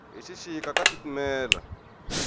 hi xixika ka titimela